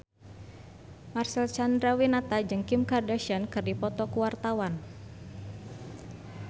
Marcel Chandrawinata jeung Kim Kardashian keur dipoto ku wartawan